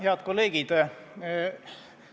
Head kolleegid!